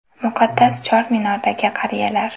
Muqaddas Chor Minordagi qariyalar.